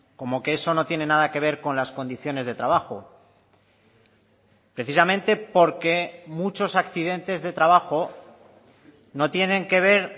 como que eso no tiene nada que ver con las condiciones de trabajo precisamente porque muchos accidentes de trabajo no tienen que ver